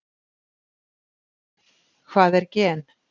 Hvað er gen?